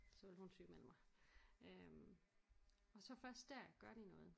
Så ville hun sygemelde mig øh og så først der gør de noget